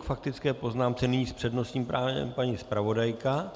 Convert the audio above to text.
K faktické poznámce nyní s přednostním právem paní zpravodajka,